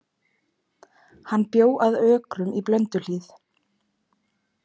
Hann bjó að Ökrum í Blönduhlíð.